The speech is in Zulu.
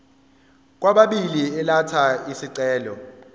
kwababili elatha isicelo